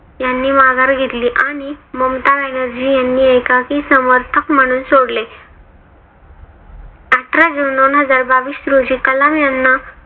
यांनी माघार घेतली आणि ममता ब्यानर्जी यांनी एकाकी समर्थक म्हणून सोडले. आठरा जून दोनहजार बावीस रोजी कलाम यांना